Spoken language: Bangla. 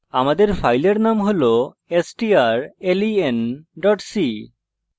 আমাদের file name হল strlen c